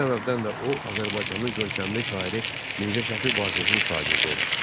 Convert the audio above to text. Bu səbəbdən də o, Azərbaycanın görkəmli şairi Mirzə Şəfi Vazehin şagirdi olur.